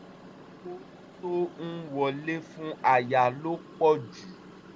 owó tó ń wọlé fún aya ló pọ̀ ju